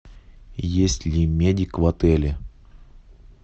есть ли медик в отеле